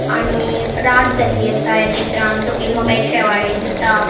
आणि रात झाल्ली आसा या चित्रान सकयल माका एक शेवाळे दिसता.